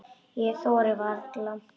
Ég þori varla.